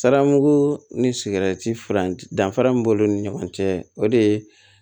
Sara muku ni sigɛriti furancɛ danfara min b'olu ni ɲɔgɔn cɛ o de ye